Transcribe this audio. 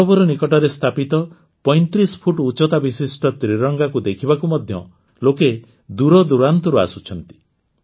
ସରୋବର ନିକଟରେ ସ୍ଥାପିତ ୩୫ ଫୁଟ୍ ଉଚ୍ଚତା ବିଶିଷ୍ଟ ତ୍ରିରଙ୍ଗାକୁ ଦେଖିବାକୁ ମଧ୍ୟ ଲୋକେ ଦୂରଦୂରାନ୍ତରୁ ଆସୁଛନ୍ତି